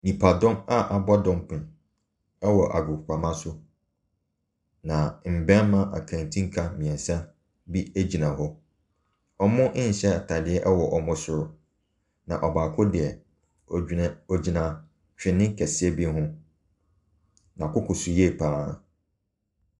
Nnipadɔm a abɔ dɔmpem wɔ agoprama so, na mmarima aketenka mmiɛnsa bi gyina hɔ. Wɔnhyɛ ataadeɛ wɔ wɔn bo so, na ɔbaako deɛ, ogyina ogyina twene kɛseɛ bi ho. N'akoko so yiye pa ara.